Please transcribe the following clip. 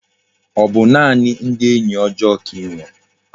O bu naani ndi enyi ojoo ka inwere?